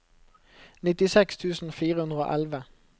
nittiseks tusen fire hundre og elleve